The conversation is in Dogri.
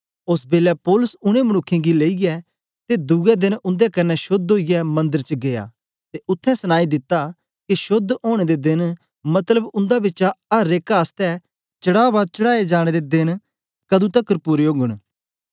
ओस बेलै पौलुस उनै मनुक्खें गी लेईयै ते दुए देन उन्दे कन्ने शोद्ध ओईयै मंदर च गीया ते उत्थें सनाई दित्ता के शोद्ध ओनें दे देन मतलब उन्दे बिचा अर एक आसतै चढ़ावा चढ़ाए जाने दे तकर देन कदुं पूरे ओगन